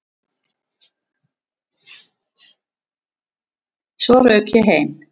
Svo rauk ég heim.